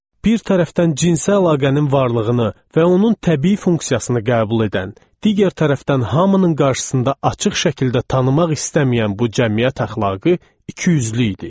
Bir tərəfdən cinsi əlaqənin varlığını və onun təbii funksiyasını qəbul edən, digər tərəfdən hamının qarşısında açıq şəkildə tanımaq istəməyən bu cəmiyyət əxlaqı ikiyüzlü idi.